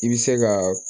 I bɛ se ka